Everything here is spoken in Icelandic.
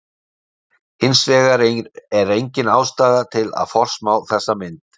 Hins vegar er engin ástæða til að forsmá þessa mynd.